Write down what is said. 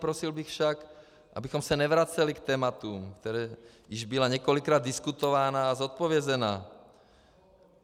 Prosil bych však, abychom se nevraceli k tématům, která již byla několikrát diskutována a zodpovězena.